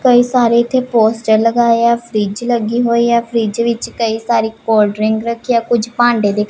ਕਈ ਸਾਰੇ ਇੱਥੇ ਪੋਸਟਰ ਲਗਾਏ ਹੈਂ ਫ੍ਰਿੱਜ ਲੱਗੀ ਹੋਈ ਹੈ ਫ੍ਰਿੱਜ ਵਿੱਚ ਕਈ ਸਾਰੀ ਕੋਲਡ ਡਰਿੰਕ ਰੱਖੀ ਹੈ ਕੁੱਛ ਭਾਂਡੇ ਦਿੱਖ --